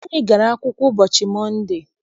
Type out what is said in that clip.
Anyị gara akwụkwọ ụbọchị Mọnde.